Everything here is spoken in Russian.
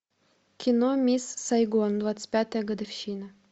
кино мисс сайгон двадцать пятая годовщина